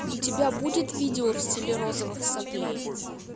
у тебя будет видео в стиле розовых соплей